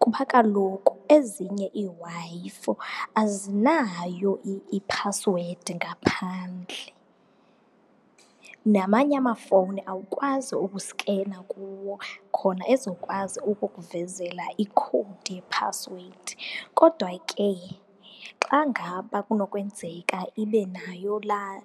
kuba kaloku ezinye iiWi-Fi azinayo iphasiwedi ngaphandle, namanye amafowuni awukwazi ukuskena kuwo khona ezokwazi ukukuvezela ikhowudi yephasiwedi. Kodwa ke xa ngaba kunokwenzeka ibe nayo laa